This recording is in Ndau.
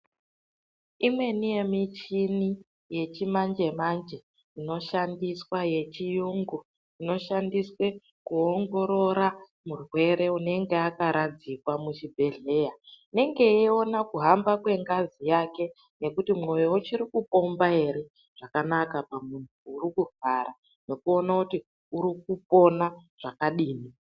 Imweni yemichini yechimanje-manje inoshandiswa yechiyungu, inoshandiswa kuongorora murwere unenge akaradzikwa muchibhedhleya, unenge weyiona kuhamba kwengazi yakwe, nokuti mwoyo uchirikupomba ere zvakanaka pamuntu uri kurwara, nokuona kuti uri kupona zvakadini.